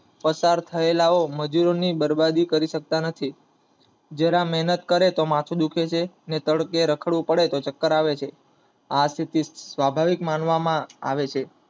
પસાર થયેલા મજૂરો ની બરબાદી કરી સકતા નથી. જરા મહેનત કરે તો માથું દુખાવ લાગે છે ને તડકે રખડવું પડે તો ચક્કર આવે છે આ સ્થિતિ સ્વભાવિક માનવામા આવે છે